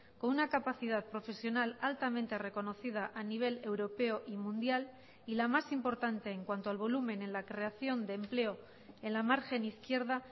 con una capacidad profesional altamente reconocida a nivel europeo y mundial y la más importante en cuanto al volumen en la creación de empleo en la margen izquierda